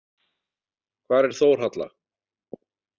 Hvar er Þórhalla?